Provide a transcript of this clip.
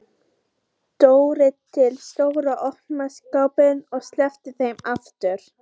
Hann Lási sofnar bara alls staðar.